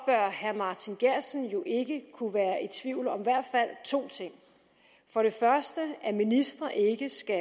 herre martin geertsen jo ikke kunne være i tvivl om i hvert fald to ting for det første at ministre ikke skal